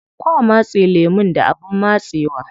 Kwa matse lemun da abin matsewa.